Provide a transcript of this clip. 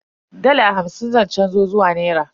Dala hamsin zan canzo zuwa nera.